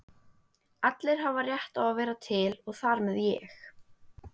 Allir hafa rétt á að vera til og þar með ég.